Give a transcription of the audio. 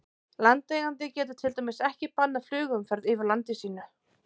Landeigandi getur til dæmis ekki bannað flugumferð yfir landi sínu.